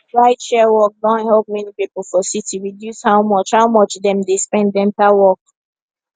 rideshare work don help many people for city reduce how much how much dem dey spend enter work